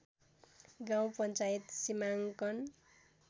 गाउँ पञ्चायत सीमाङ्कन